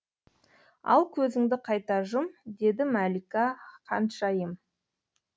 ал көзіңді қайта жұм деді мәлика ханшайым